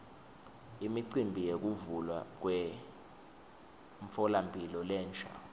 imicimbi yekuvulwa kwemtfolamphilo lensha